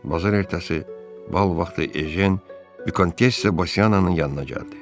Bazar ertəsi bal vaxtı Ejen vikontessa Basyaananın yanına gəldi.